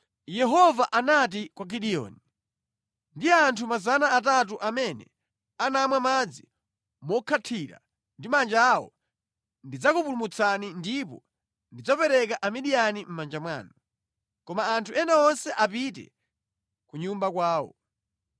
Yehova anati kwa Gideoni, “Ndi anthu 300 amene anamwa madzi mokhathira ndi manja awo ndidzakupulumutsani ndipo ndidzapereka Amidiyani mʼmanja mwanu. Koma anthu ena onse apite ku nyumba kwawo.”